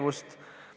Hea peaminister!